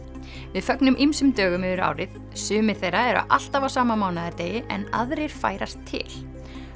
við fögnum ýmsum dögum yfir árið sumir þeirra eru alltaf á sama mánaðardegi en aðrir færast til